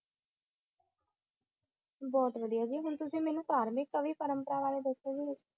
बहुत वाडिया जी बिलकुल जी ते मेनू कोई धार्मिक वि कोई वराय दसो